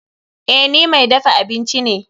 Eh, ni mai dafa abinci ne.